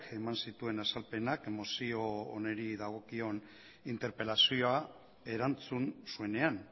eman dituen azalpenak mozio honi dagokion interpelazioa erantzun zuenean